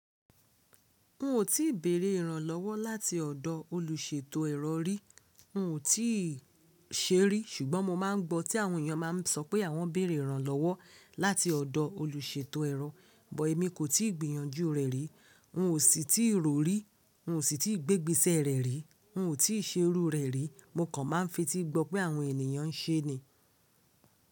N ò tí ì bèrè ìrànlọ́wọ́ láti ọ̀dọ̀ olùṣètò ẹ̀rọ rí. N ò tí ì ṣe é rí, ṣùgbọ́n mo máa ń gbọ́ tí àwọn ènìyàn máa ń sọ pé àwọn bèrè ìrànlọ́wọ́ láti ọ̀dọ olùṣètò ẹ̀rọ, but èmi kò tí ì gbìyànjú rẹ̀ rí. N ò sì tí ì rò ó rí. N ò sì tí ì gbé ìgbésẹ̀ rẹ̀ rí. N ò tí ì ṣe irú u rẹ̀ rí. Mo kàn ma ń fetí gbọ pé àwọn ènìyàn ń ṣe é ni.